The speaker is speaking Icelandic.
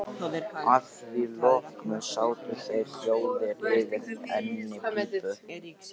Að því loknu sátu þeir hljóðir yfir einni pípu.